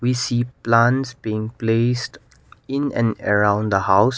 we see plants being placed in and around the house.